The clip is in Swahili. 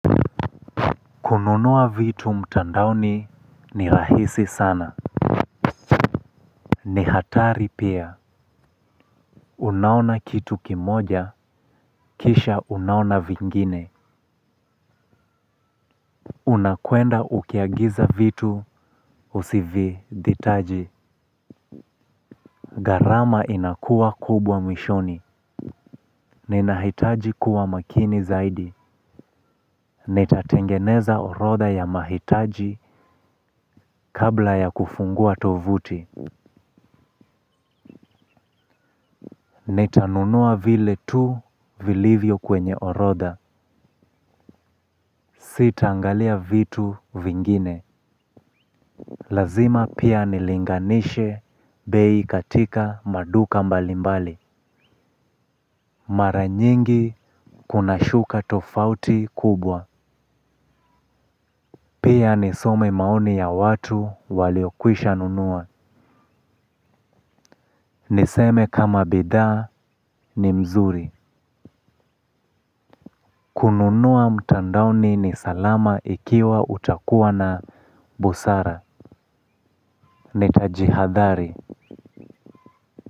Kununua vitu mtandaoni ni rahisi sana. Ni hatari pia. Unaona kitu kimoja, kisha unaona vingine. Unakwenda ukiagiza vitu, usivihitaji. Gharama inakua kubwa mwishoni. Ninahitaji kuwa makini zaidi. Nitatengeneza orodha ya mahitaji kabla ya kufungua tovuti. Nitanunua vile tu, vilivyo kwenye orodha Sitaangalia vitu vingine. Lazima pia nilinganishe bei katika maduka mbalimbali. Mara nyingi kunashuka tofauti kubwa. Pia nisome maoni ya watu waliokwisha nunua. Niseme kama bidhaa ni mzuri. Kununua mtandaoni ni salama ikiwa utakuwa na busara. Nitajihadhari.